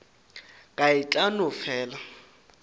ka e tla no fela